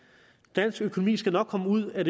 dansk økonomi skal nok komme ud af